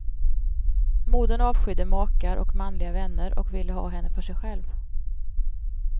Modern avskydde makar och manliga vänner och ville ha henne för sig själv.